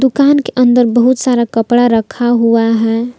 दुकान के अंदर बहुत सारा कपड़ा रखा हुआ है।